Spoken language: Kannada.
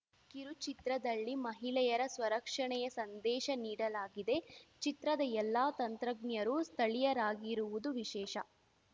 ಕಿರುಚಿತ್ರದಲ್ಲಿ ಮಹಿಳೆಯರ ಸ್ವರಕ್ಷಣೆಯ ಸಂದೇಶ ನೀಡಲಾಗಿದೆ ಚಿತ್ರದ ಎಲ್ಲ ತಂತ್ರಜ್ಞರು ಸ್ಥಳೀಯರಾಗಿರುವುದು ವಿಶೇಷ